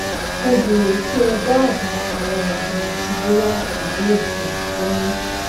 mo bèèrè kí ẹ dábàá àwọn òògùn àti bóyá màá lè um lóyún